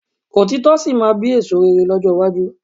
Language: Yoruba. Òtítọ́ sì máa bí èso rere lọ́jọ́ iwájú